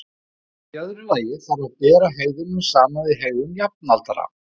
Í öðru lagi þarf að bera hegðunina saman við hegðun jafnaldra.